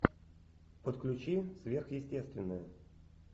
подключи сверхъестественное